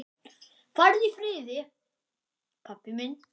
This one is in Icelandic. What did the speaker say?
Farðu í friði, pabbi minn.